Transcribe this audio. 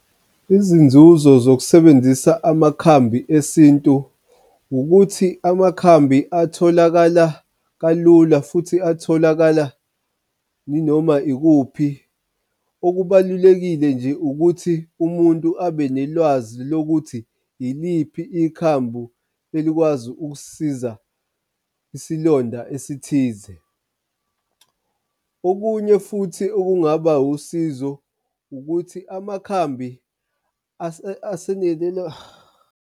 Izinzuzo zokusebenzisa amakhambi esintu ukuthi amakhambi atholakala kalula futhi atholakala inoma ikuphi. Okubalulekile nje ukuthi umuntu abe nolwazi lokuthi iliphi ikhambu elikwazi ukusisiza isilonda esithize. Okunye futhi okungaba usizo ukuthi amakhambi .